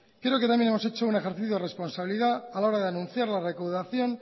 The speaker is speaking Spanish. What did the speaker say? creo que también hemos hecho un ejercicio de responsabilidad a la hora de anunciar la recaudación